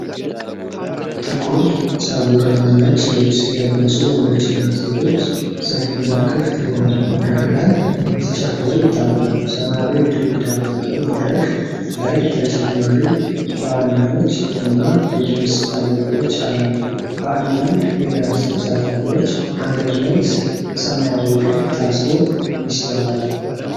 ጥቁር ጸጉር እና ነጭ ልብስ የለበሱ ወንዶችና ሴቶች ሰፊና ክፍት በሆነ መድረክ ላይ ሲጨፍሩ ይታያሉ። ሰማያዊ ግድግዳ ባለው መድረክ ላይ ተጨማሪ ተዋናዮች እና የድምጽ ማጉያዎች አሉ፣ በአንዳንድ የዳንስ ተሳታፊዎች አንገት ላይ ሰማያዊ ክር ታስሮ ይስተዋላል።